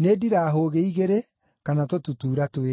“Nĩ ndirahũgĩ igĩrĩ kana tũtutuura twĩrĩ.”